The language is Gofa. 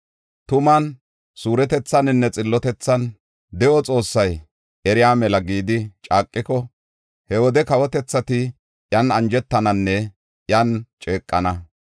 tuman, suuretethaninne xillotethan, ‘De7o Xoossay eriya mela’ gidi caaqiko, he wode kawotethati iyan anjetananne iyan ceeqana.”